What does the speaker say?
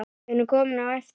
Við erum komin á eftir.